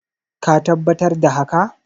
ka tabbatar da haka?